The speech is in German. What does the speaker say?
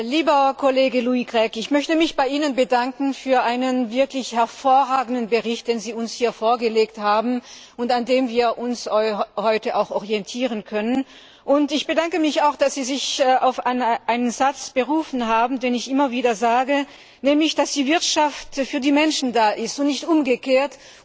Lieber Kollege Louis Grech, ich möchte mich bei Ihnen für einen wirklich hervorragenden Bericht bedanken, den Sie uns hier vorgelegt haben und an dem wir uns heute auch orientieren können. Und ich bedanke mich auch, dass Sie sich auf einen Satz berufen haben, den ich immer wieder sage, nämlich dass die Wirtschaft für die Menschen da ist und nicht umgekehrt.